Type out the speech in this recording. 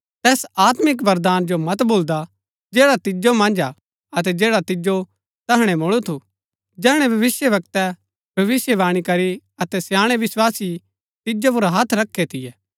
तैस आत्मिक वरदान जो मत भूलदा जैड़ा तिजो मन्ज हा अतै जैड़ा तिजो तैहणै मुळु थू जैहणै भविष्‍यवक्तै भविष्‍यवाणी करी अतै स्याणै विस्वासी तिजो पुर हथ रखै थियै